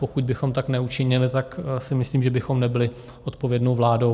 Pokud bychom tak neučinili, tak si myslím, že bychom nebyli odpovědnou vládou.